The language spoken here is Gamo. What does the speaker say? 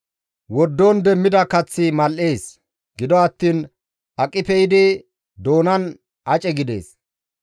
Wordon demmida kaththi mal7ees; gido attiin aqi pe7idi doonan ace gidees.